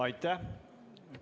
Aitäh!